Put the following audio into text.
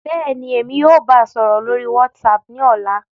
Bẹ́ẹ̀ni, Emi yóò baa sọrọ lori WhatsApp ni ọla.